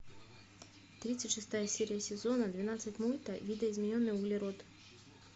тридцать шестая серия сезона двенадцать мульта видоизмененный углерод